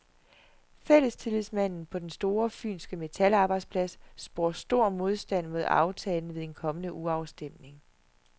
Fællestillidsmanden på den store fynske metalarbejdsplads spår stor modstand mod aftalen ved en kommende urafstemning.